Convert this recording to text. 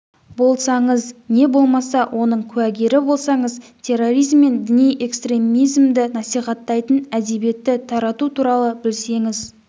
болсаңыз не болмаса оның куәгері болсаңыз терроризм мен діни экстремизмді насихаттайтын әдебиетті тарату туралы білсеңіз